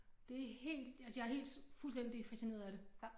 Det helt at jeg helt fuldstændig fascineret af det